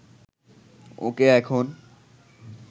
ওকে এখন